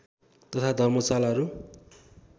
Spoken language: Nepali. तथा धर्मशालाहरू